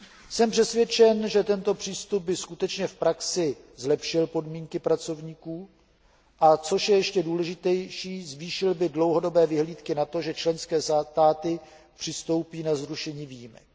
Jsme přesvědčen, že tento přístup by skutečně v praxi zlepšil podmínky pracovníků, a co je ještě důležitější, zvýšil by dlouhodobé vyhlídky na to, že členské státy přistoupí na zrušení výjimek.